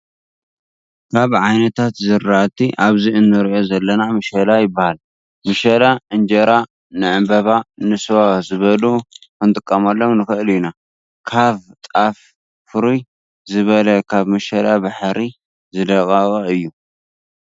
ካብ ዓይነታት ዝራእቲ ኣብዚ እንሪኦ ዘለና ምሸላ ይበሃል ምሸላ እንጀራ፣ ንዕንበባ፣ ንስዋ ዝበሉ ኽንጥቀመሎም ንኽእል ኢና። ካቭ ጣፍ ፍርይ ዝበለ ካብ ምሽላ ባሕሪ ዝደቀቀ እዩ።